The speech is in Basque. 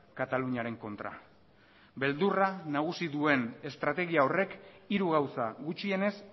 kataluniaren kontra beldurra nagusi duen estrategia horrek hiru gauza gutxienez